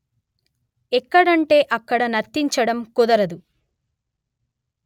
ఎక్కడంటే అక్కడ నర్తించడం కుదరదు